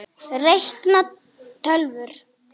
Reikna- tölvur